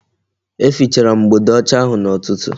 E fichara m mgbode ọcha ahụ n'ụtụtụ